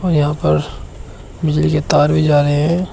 यहां पर बिजली के तार भी जा रहे हैं।